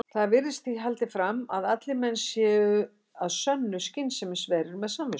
Þar virðist því haldið fram að allir menn séu að sönnu skynsemisverur og með samvisku.